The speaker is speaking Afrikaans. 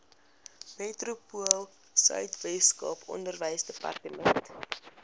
metropoolsuid weskaap onderwysdepartement